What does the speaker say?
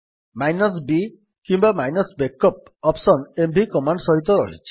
b କିମ୍ୱା -backup option mv command ସହିତ ରହିଛି